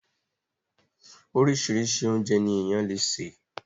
Orísirísi oúnjẹ ní ènìyàn le sè